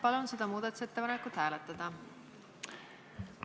Palun seda muudatusettepanekut hääletada!